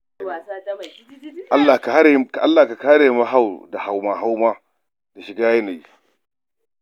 Allah ka hare mu hau da hauma da shiga yanayi.